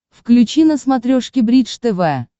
включи на смотрешке бридж тв